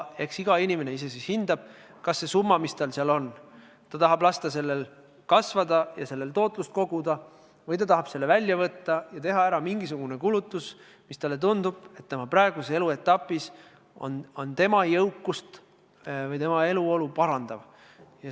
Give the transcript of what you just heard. Eks iga inimene hindab ise, kas ta tahab lasta sel summal, mis tal seal on, kasvada ja selle tootlust suurendada või tahab ta selle välja võtta ja teha mingisuguse kulutuse, mille puhul talle tundub, et see on tema praeguses eluetapis tema jõukust või eluolu parandav.